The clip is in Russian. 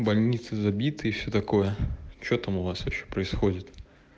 больницы забитые и всё такое что там у вас вообще происходит